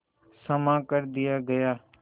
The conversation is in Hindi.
क्षमा कर दिया गया